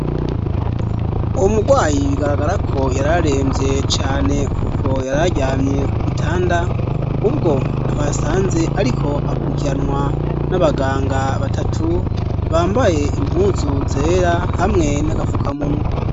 Umugwayi bigaragarako yararemvye cane kuko yararyamye ku gitanda, ubwo twasanze ariko akurikiranwa n'abaganga batatu bambaye impuzu zera hamwe n'agafukamunwa.